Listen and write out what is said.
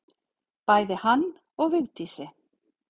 Bæði hann og Vigdísi.